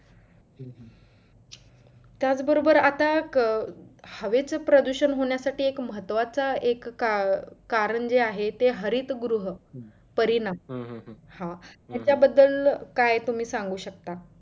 त्याच बरोबर आता अं हवेच प्रदूषण होण्यासाठी एक महत्वाचं एक कारण जे आहे ते हरित गृह परिनाम हा याच्या बद्दल काय तुम्ही सांगू शकता?